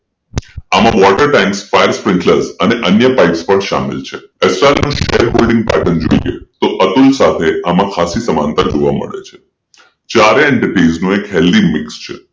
આમાં water time fire fit club અને અન્ય પાઇપ્સ પણ સામેલ છે એ સ્ટારનો શેરહોલ્ડિંગ પેટર્ન જોઈએતો અતુલ સાથે આમાં ખાસ સમાનતા જોવા મળે છે ચારેય Entertainer healthy mix છે